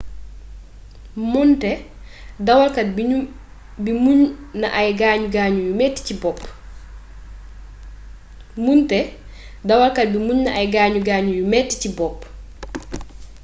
moonte dawalkat bi muñ na ay gaañu gaañuu yu metti ci bopp bi